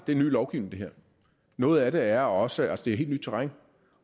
ny lovgivning og noget af det er også også helt nyt terræn